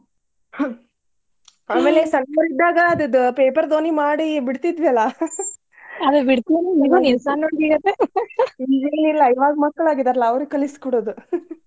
ಆಮೇಲ್ ಸಣ್ಣವರರಿದ್ದಾಗ ಅದು paper ದೋಣಿ ಮಾಡಿ ಬಿಡತಿದ್ವಿಲಾ ಏನಿಲ್ಲಾ ಈವಾಗ ಮಕ್ಳ ಆಗಿದಾರಲ್ಲಾ ಅವ್ರಿಗೆ ಕಲಿಸಿಕೊಡುದು.